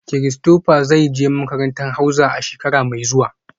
Christopher zai je makarantar hauza a shekara mai zuwa